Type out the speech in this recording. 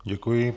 Děkuji.